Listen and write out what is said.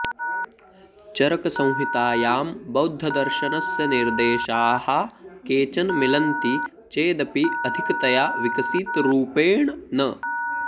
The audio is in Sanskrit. चरकसंहितायां बौद्धदर्शनस्य निर्देशाः केचन मिलन्ति चेदपि अधिकतया विकसितरूपेण न